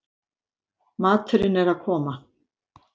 Maturinn er að koma